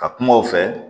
Ka kuma o fɛ